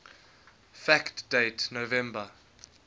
fact date november